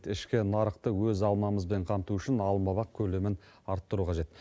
ішкі нарықты өз алмамызбен қамту үшін алмабақ көлемін арттыру қажет